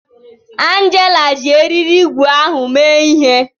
Angela ji eriri ígwè ahụ mee ihe